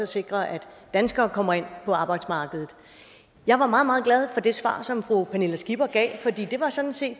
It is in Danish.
sikre at danskere kommer ind på arbejdsmarkedet jeg var meget meget glad for det svar som fru pernille skipper gav for det var sådan set